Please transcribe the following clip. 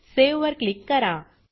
save वर click करा